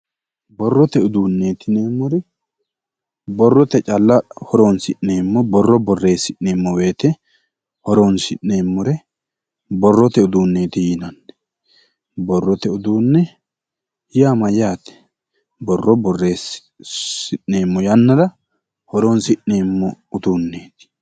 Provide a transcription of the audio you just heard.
Borrote uduunneeti yineemmori borrote calla horoonsi'neemmo borro borreessi'neemmo woyite horoonsi'neemmore borrote uduunneeti yinanni. Borrote uduunne yaa mayyaate? Borro borreessi'neemmo yannara horoonsi'neemmo uduunneeti.